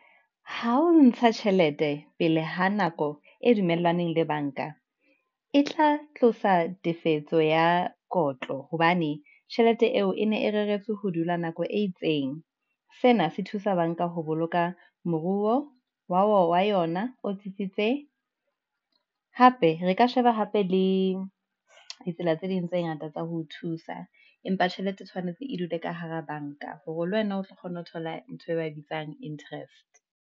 Ha o ntsha tjhelete pele ho nako e dumellaneng le bank-a, e tla tlosa tefetso ya kotlo hobane tjhelete eo e ne e reretswe ho dula nako e itseng. Sena se thusa bank-a ho boloka moruo wa yona o tsitsitse, hape re ka sheba hape le ditsela tse ding tse ngata tsa ho thusa. Empa tjhelete tshwanetse e dule ka hara bank-a, hore le wena o tlo kgona ho thola ntho e bitswang interest.